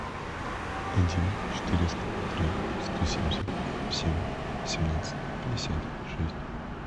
один четыреста три сто семьдесят семь семнадцать пятьдесят шесть